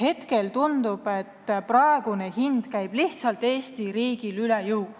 Hetkel tundub, et praegune hind käib lihtsalt Eesti riigile üle jõu.